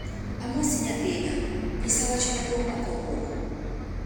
Amosi nyathina, nyisa wach maduong' mar kawuono